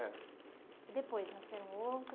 É. E depois, nasceram outro?